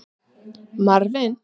Marvin